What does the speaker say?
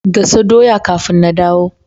Gasa doya kafin na dawo.